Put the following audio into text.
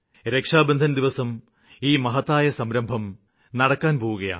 രക്ഷാബന്ധന് ദിവസം ഈ മഹത്തായ സംരംഭം നടക്കാന് പോകുകയാണ്